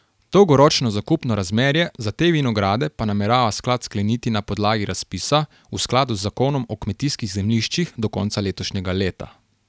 Dolgoročno zakupno razmerje za te vinograde pa namerava sklad skleniti na podlagi razpisa, v skladu z zakonom o kmetijskih zemljiščih do konca letošnjega leta.